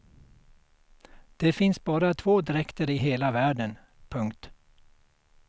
Det finns bara två dräkter i hela världen. punkt